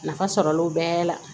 Nafa sɔrɔlenw bɛɛ la